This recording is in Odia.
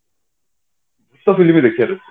ଭୁତ film ଦେଖିବା ନି